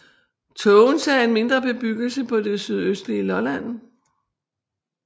Tågense er en mindre bebyggelse på det sydøstlige Lolland